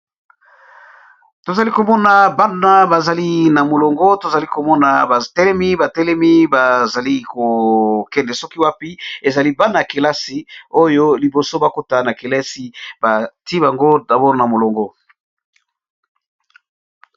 Tozali komona bana bazali na molongo tozali komona batelemi batelemi bazali kokende soki wapi ezali bana yakelasi oyo liboso bakota na kelasi bati bango dabol na molongo.